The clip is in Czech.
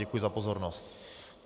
Děkuji za pozornost.